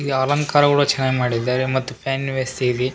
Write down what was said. ಈ ಅಲಂಕಾರಗಳನ್ನು ಚೆನ್ನಾಗ್ ಮಾಡಿದ್ದಾರೆ ಮತ್ತು ಪ್ಯಾನ್ ವೇ ಸಿರಿ.